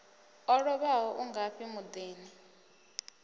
o lovhaho u ngafhi muḓini